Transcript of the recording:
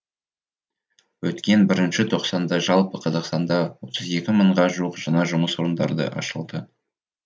өткен бірінші тоқсанда жалпы қазақстанда отыз екі мыңға жуық жаңа жұмыс орындары ашылды